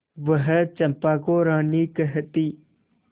वह चंपा को रानी कहती